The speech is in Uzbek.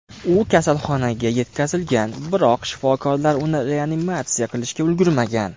U kasalxonaga yetkazilgan, biroq shifokorlar uni reanimatsiya qilishga ulgurmagan.